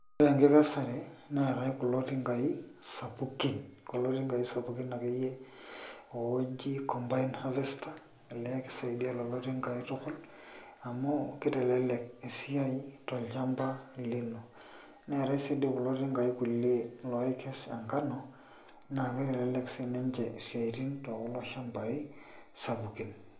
Ore enkesare neetai kulo tingai sapukin akeyie ooji combined harvester naa kisaidia kulo tingai tukul amu kitelelek esiai tolchamba lino naa kitelelek sininche isiaitin tekulo shambai sapukin.